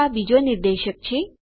તો આ બીજો નિર્દેશક છે